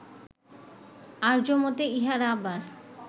আর্য্যমতে ইহার আবার